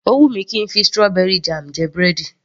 Ó wù mí kí ń fi strawberry jam jẹ búrẹ́dì